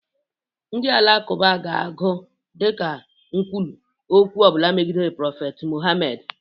Ndị alakụba ga-agụ dịka nkwulu okwu ọbụla megidere prophet Mohamed.